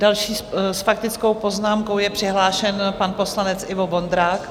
Další s faktickou poznámkou je přihlášen pan poslanec Ivo Vondrák.